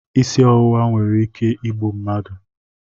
Isi ọwụwa nwere ike igbu mmadụ